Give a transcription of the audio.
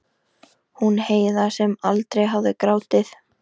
Hún Heiða sem aldrei hafði grátið.